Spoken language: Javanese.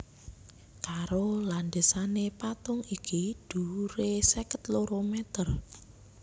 Karo landhesané patung iki dhuwuré seket loro mèter